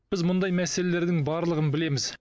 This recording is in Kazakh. біз мұндай мәселелердің барлығын білеміз